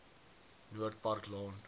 noord park laan